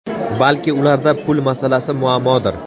Balki ularda pul masalasi muammodir.